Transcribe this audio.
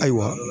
Ayiwa